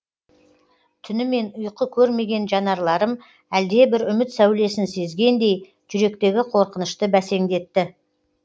түнімен ұйқы көрмеген жанарларым әлде бір үміт сәулесін сезгендей жүректегі қорқынышты бәсеңдетті